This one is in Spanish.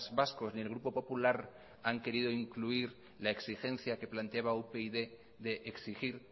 vascos ni el grupo popular han querido incluir la exigencia que planteaba upyd de exigir